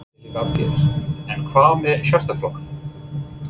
Lillý Valgerður: En hvað með Sjálfstæðisflokkinn?